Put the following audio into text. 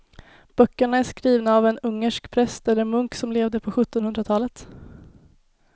Böckerna är skrivna av en ungersk präst eller munk som levde på sjuttonhundratalet.